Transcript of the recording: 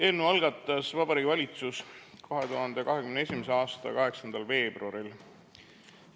Eelnõu algatas Vabariigi Valitsus 2021. aasta 8. veebruaril.